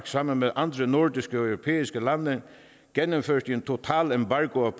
sammen med andre nordiske og europæiske lande gennemførte en total embargo af